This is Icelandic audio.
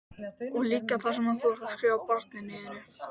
Og líka það sem þú ert að skrifa barninu þínu?